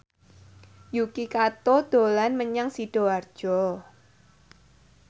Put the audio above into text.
Yuki Kato dolan menyang Sidoarjo